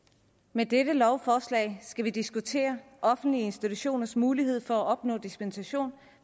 med dette lovforslag skal vi diskutere offentlige institutioners mulighed for at opnå dispensation